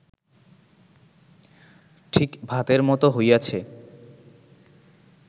ঠিক ভাতের মত হইয়াছে